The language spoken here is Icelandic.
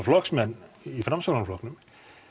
flokksmenn í Framsóknarflokknum